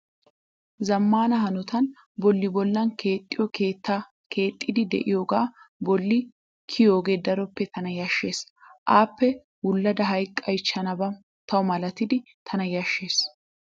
Zammaana hanotan bolli bollan kexxiyoo keetta keexxiddi diyoogaa bolli kiyooge daroppe tana yashshes. Appe wullada hayiqqayichchanba tawu malatidi tana yashshes.